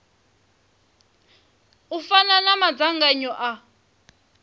u fana na madzangano a